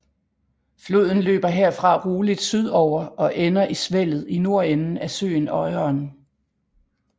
Floden løber herfra roligt sydover og ender i Svellet i nordenden af søen Øyeren